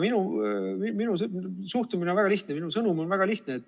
Minu suhtumine on väga lihtne, minu sõnum on väga lihtne.